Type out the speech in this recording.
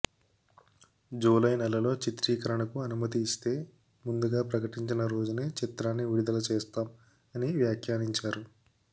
July నెలలో చిత్రీకరణ కు అనుమతి ఇస్తే ముందుగా ప్రకటించిన రోజునే ఈ చిత్రాన్ని విడుదల చేస్తాం అని వ్యాఖ్యానించారు